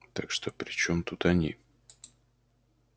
так что при чём тут они